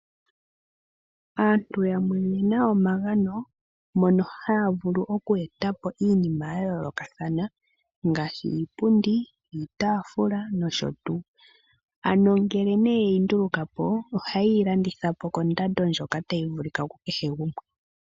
Aantu yamwe oyena omagano ngono mono haya vulu okwetapo iinima yayoolokathana ngaashi Iipundi , iitaafula noshotuu. Ngele yeyi ndulukapo, ohayeyi landithapo kondando ndjoka tayi vulithwa kukehe gumwe.